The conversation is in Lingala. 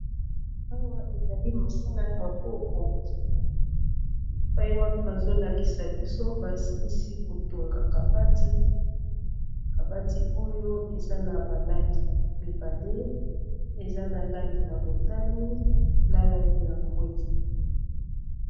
awa ezali mosala ya maboko paiwapi bazolakisa biso basilisi kotonga kabati kabati oyo eza na balangi mibale eza na langi ya motani na langi ya mbwe